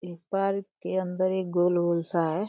एक पार्क के अन्दर एक गोल-गोल सा है।